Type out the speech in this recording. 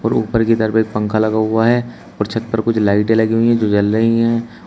और ऊपर की तरफ एक पंखा लगा हुआ है और छत पर कुछ लाइटें लगी हुई हैं जो जल रही हैं।